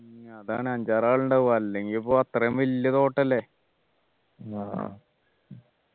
ഉം അതാണ് അഞ്ചാറു ആള് ഉണ്ടാവും അല്ലെങ്കിൽ പ്പോ അത്രയും വലിയ തോട്ടല്ലേ